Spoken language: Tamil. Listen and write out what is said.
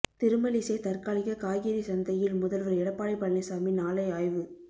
திருமழிசை தற்காலிக காய்கறி சந்தையில் முதல்வர் எடப்பாடி பழனிசாமி நாளை ஆய்வு